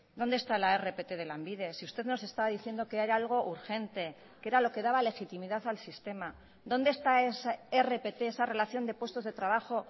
dónde está la rpt de lanbide si usted nos está diciendo que era algo urgente que era lo que daba legitimidad al sistema dónde está esa rpt esa relación de puestos de trabajo